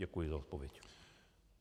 Děkuji za odpověď.